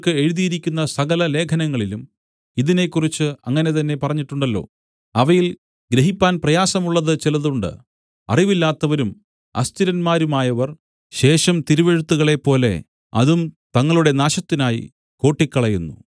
എഴുതിയിരിക്കുന്ന സകല ലേഖനങ്ങളിലും ഇതിനെക്കുറിച്ച് അങ്ങനെ തന്നെ പറഞ്ഞിട്ടുണ്ടല്ലോ അവയിൽ ഗ്രഹിപ്പാൻ പ്രയാസമുള്ളത് ചിലതുണ്ട് അറിവില്ലാത്തവരും അസ്ഥിരന്മാരുമായവർ ശേഷം തിരുവെഴുത്തുകളെപ്പോലെ അതും തങ്ങളുടെ നാശത്തിനായി കോട്ടിക്കളയുന്നു